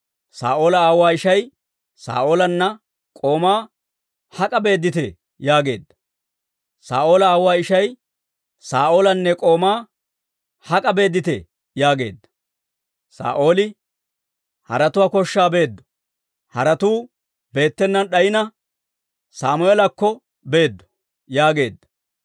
Saa'oola aawuwaa ishay Saa'oolanne k'oomaa, «Hak'a beedditee?» yaageedda. Saa'ooli, «Haretuwaa koshshaa beeddo; haretuu beettenaan d'ayina, Sammeelakko beeddo» yaageedda.